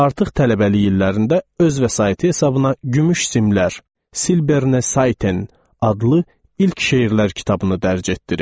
Artıq tələbəlik illərində öz vəsaiti hesabına Gümüş Simlər (Silberne Saiten) adlı ilk şeirlər kitabını dərc etdirib.